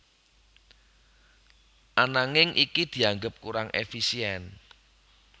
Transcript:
Ananging iki dianggep kurang éfisién